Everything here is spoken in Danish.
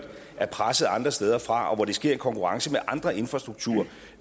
er presset andre steder fra og hvor det sker i konkurrence med andre infrastrukturudgifter